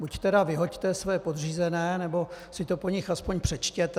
Buď tedy vyhoďte svoje podřízené, nebo si to po nich aspoň přečtěte.